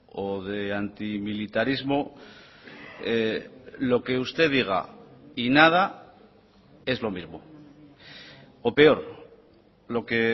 o de antimilitarismo lo que usted diga y nada es lo mismo o peor lo que